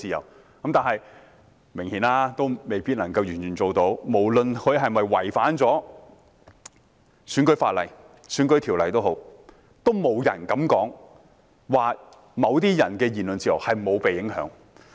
但很明顯，在今次的選舉中，這一切都未必能夠完全做到，無論是否有違反選舉條例，也沒人敢說某些人的言論自由並未受到影響。